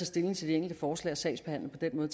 stilling til de enkelte forslag og sagsbehandle på den